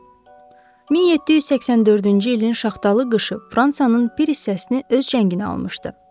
1784-cü ilin şaxtalı qışı Fransanın bir hissəsini öz cənginə almışdı.